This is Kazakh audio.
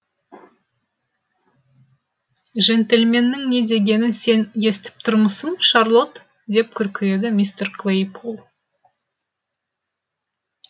жентльменнің не дегенін сен естіп тұрмысың шарлотт деп күркіреді мистер клейпол